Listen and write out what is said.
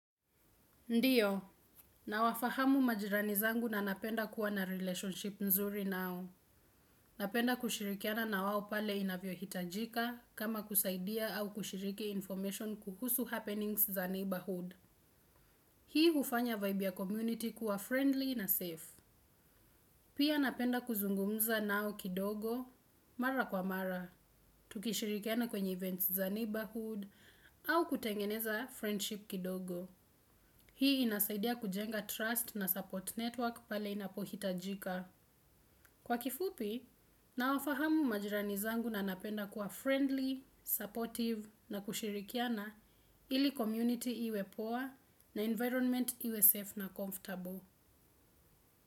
Ndio, nawafahamu majirani zangu na napenda kuwa na relationship nzuri nao. Napenda kushirikiana na wao pale inavyohitajika kama kusaidia au kushiriki information kuhusu happenings za neighborhood. Hii hufanya vibe ya community kuwa friendly na safe. Pia napenda kuzungumza nao kidogo, mara kwa mara, tukishirikiana kwenye events za neighborhood au kutengeneza friendship kidogo. Hii inasaidia kujenga trust na support network pale inapohitajika. Kwa kifupi, nawafahamu majirani zangu na napenda kuwa friendly, supportive na kushirikiana ili community iwe poa na environment iwe safe na comfortable.